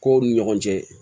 Kow ni ɲɔgɔn cɛ